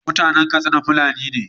Mutanan Katsina fulani ne